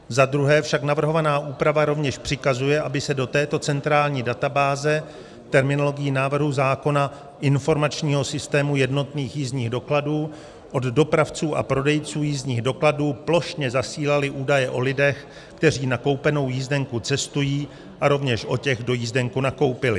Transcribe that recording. Za druhé však navrhovaná úprava rovněž přikazuje, aby se do této centrální databáze terminologií návrhu zákona informačního systému jednotných jízdních dokladů od dopravců a prodejců jízdních dokladů plošně zasílaly údaje o lidech, kteří s nakoupenou jízdenkou cestují, a rovněž o těch, kdo jízdenku nakoupili.